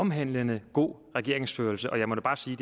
omhandlende god regeringsførelse og jeg må bare sige